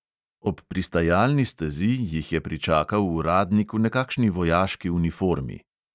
Ob pristajalni stezi jih je pričakal uradnik v nekakšni vojaški uniformi.